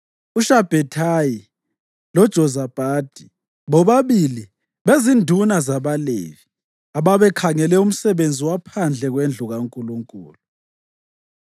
uShabhethayi loJozabhadi, bobabili bezinduna zabaLevi ababekhangele umsebenzi waphandle kwendlu kaNkulunkulu;